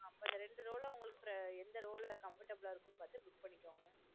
அப்ப இந்த ரெண்டு row லா எந்த row லா comfortable அ இருக்குனு பாத்து book பண்ணிகோங்க